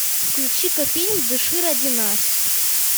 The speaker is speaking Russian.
включи ка фильм дыши ради нас